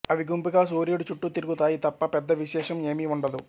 అవి గుంపుగా సూర్యుడి చుట్టూ తిరుగుతాయి తప్ప పెద్ద విశేషం ఏమీ ఉండదు